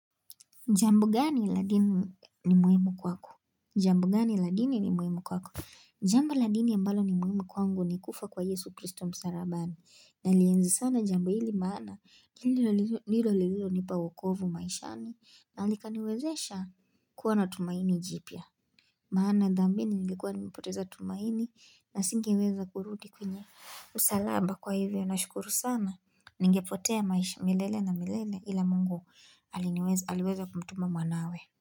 Jambo gani la dini ni muhimu kwako? Jambo gani la dini ni muhimu kwako? Jambo la dini ambalo ni muhimu kwangu ni kufa kwa Yesu Christo msalabani. Nalienzi sana jambo hili maana nilo lililonipa wokovu maishani na likaniwezesha kuwa na tumaini jipya. Maana dhambini ningekwa nimepoteza tumaini na singeweza kurudi kwenye msalaba kwa hivyo. Nashukuru sana, ningepotea maisha milele na milele ila mungu aliniweza aliweza kumtuma mwanawe.